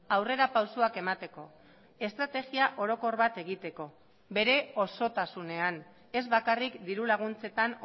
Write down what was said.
aurrerapausoak emateko estrategia orokor bat egiteko bere osotasunean ez bakarrik diru laguntzetan